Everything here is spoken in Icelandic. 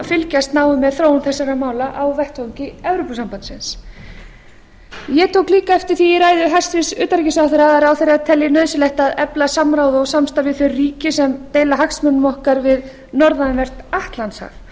fylgjast náið með þróun þessara mála á vettvangi evrópusambandsins ég tók líka eftir því í ræðu hæstvirts utanríkisráðherra að ráðherra telji nauðsynlegt að efla samráð og samstarf við þau ríki sem deila hagsmunum okkar við norðanvert atlantshaf